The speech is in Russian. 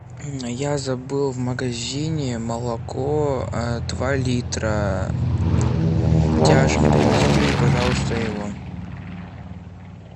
я забыл в магазине молоко два литра тяжин привезите мне пожалуйста его